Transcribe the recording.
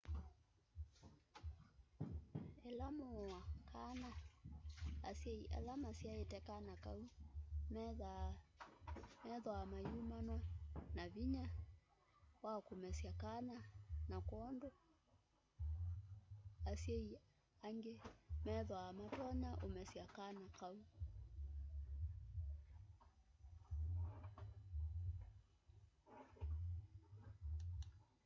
ila muua kana asyai ala masyaite kana kau methwaa mayumanwa na vinya wa kumesya kana na kwoou asyai angi methwaa matonya umesya kana kau